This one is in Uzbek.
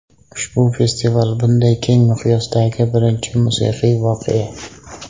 Ushbu festival – bunday keng miqyosdagi birinchi musiqiy voqea.